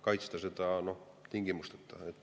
Kaitsta seda tingimusteta.